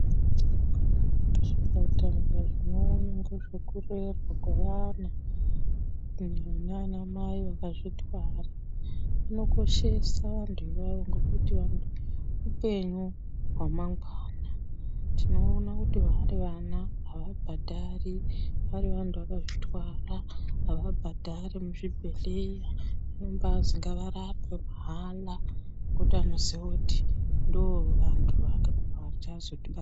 Zvipatara zvinoona nezvekurapwa kwevana kuenda kunanamai akazvitwara zvinokoshesa maningi hupenyu hwamangwana . Tinoona kuti vari vana havabhadhari, vari vantu vakazvitwara havabhadhari muzvibhedhlera vanombanzi ngavarapwe mahala ngekuti vanoziva kuti ndovanhu vachatipa...